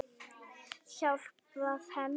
Hjálpað henni.